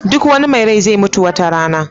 Duk wani mai rai zai mutu wata rana.